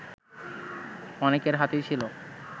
অনেকের হাতেই ছিল